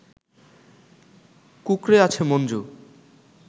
কুঁকড়ে আছে মঞ্জু